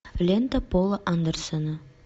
лента пола андерсона